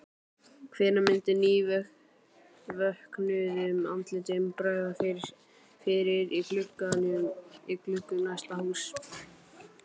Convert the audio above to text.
Hvenær myndi nývöknuðum andlitum bregða fyrir í gluggum næstu húsa?